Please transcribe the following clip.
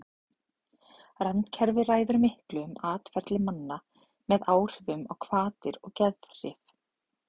randkerfið ræður miklu um atferli manna með áhrifum á hvatir og geðhrif